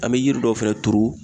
An me yiri dɔw fɛnɛ turu